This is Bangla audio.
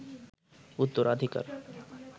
উত্তরাধিকার